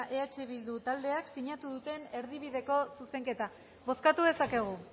eh bildu taldeek sinatu duten erdibideko zuzenketa bozkatu dezakegu